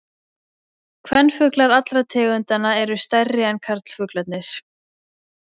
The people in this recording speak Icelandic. Kvenfuglar allra tegundanna eru stærri en karlfuglarnir.